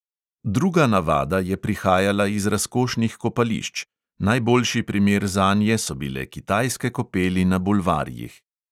Druga navada je prihajala iz razkošnih kopališč; najboljši primer zanje so bile kitajske kopeli na bulvarjih.